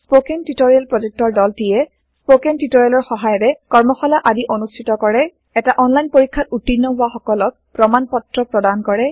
spoken tutorial প্ৰকল্পৰ দলটিয়ে spoken টিওটৰিয়েলৰ সহায়েৰে কৰ্মশালা আদি অনুষ্ঠিত কৰে এটা অনলাইন পৰীক্ষাত উত্তীৰ্ণ হোৱা সকলক প্ৰমাণ পত্ৰ প্ৰদান কৰে